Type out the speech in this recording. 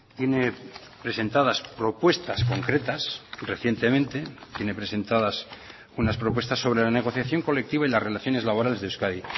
tiene presentadas propuestas concretas recientemente tiene presentadas unas propuestas sobre la negociación colectiva y las relaciones laborales de euskadi